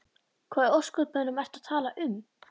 Hvað í ósköpunum ertu að tala um?